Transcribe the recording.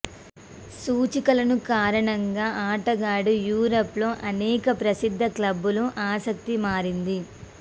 సూచికలను కారణంగా ఆటగాడు యూరోప్ లో అనేక ప్రసిద్ధ క్లబ్బులు ఆసక్తి మారింది